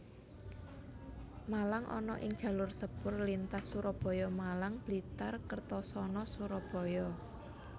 Malang ana ing jalur sepur lintas Surabaya Malang Blitar Kertosono Surabaya